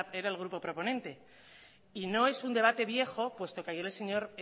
era el grupo proponente y no es un debate viejo puesto que ayer el señor